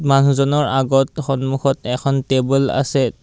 মানুহজনৰ আগত সন্মুখত এখন টেবুল আছে।